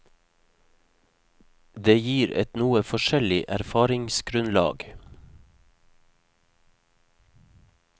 Det gir et noe forskjellig erfaringsgrunnlag.